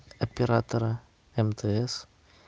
оператора мтс